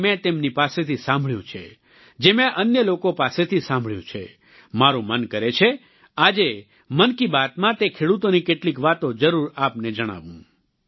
જે મેં તેમની પાસેથી સાંભળ્યું છે જે મેં અન્ય લોકો પાસેથી સાંભળ્યું છે મારું મન કરે છે આજે મન કી બાતમાં તે ખેડૂતોની કેટલીક વાતો જરૂર આપને જણાવું